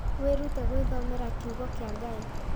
Wĩrute gwĩthomera kiugo kĩa Ngai